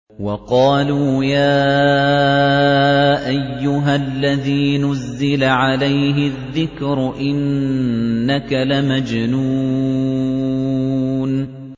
وَقَالُوا يَا أَيُّهَا الَّذِي نُزِّلَ عَلَيْهِ الذِّكْرُ إِنَّكَ لَمَجْنُونٌ